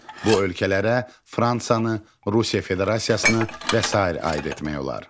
Bu ölkələrə Fransanı, Rusiya Federasiyasını və sair aid etmək olar.